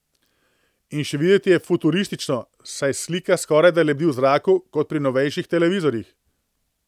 In še videti je futuristično, saj slika skorajda lebdi v zraku, kot pri novejših televizorjih.